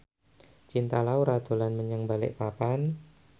Cinta Laura dolan menyang Balikpapan